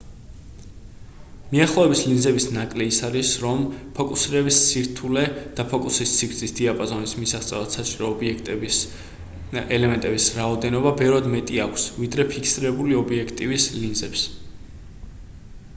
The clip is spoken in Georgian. მიახლოების ლინზების ნაკლი ის არის რომ ფოკუსირების სირთულე და ფოკუსის სიგრძის დიაპაზონის მისაღწევად საჭირო ობიექტივის ელემენტების რაოდენობა ბევრად მეტი აქვს ვიდრე ფიქსირებული ობიექტივის ლინზებს